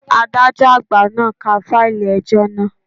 Adájọ́ àgbà náà ń ka fáìlì ẹjọ́ naa